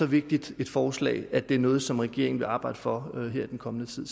vigtigt et forslag at det er noget som regeringen vil arbejde for her i den kommende tid